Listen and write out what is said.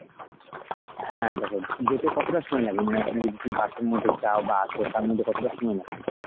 হ্যাঁ দেখ যেতে কতটা সময় লাগল মানে ওখানে যদি তুমি bus এর মধ্যে যাও বা আসো তার মধ্যে কতটা সময় লাগছে তোমার?